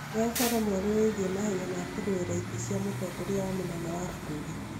He ũhoro mwerũ wĩgiĩ mahenya ma kũrũiririra itĩ cia ũtongoria wa munene wa bururi